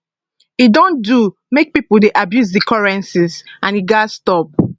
e don do make pipo dey abuse di currencies and e gatz stop